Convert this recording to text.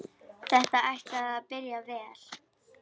Þetta ætlaði að byrja vel!